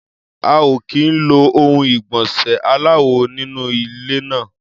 A ò kì í lo ohun ìgbọ̀nsẹ̀ aláwò nínú ilé náà.